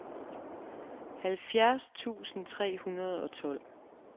halvfjerds tusind tre hundrede og tolv